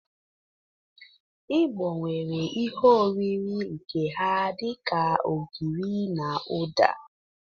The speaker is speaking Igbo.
Igbo nwere ihe oriri nke ha dị ka ogiri na ụda.